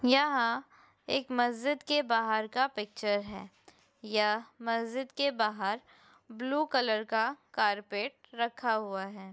यहाँ एक मस्ज़िद के बाहर का पिक्चर है। यह मस्ज़िद के बाहर ब्लू कलर का कारपेट रखा हुआ है।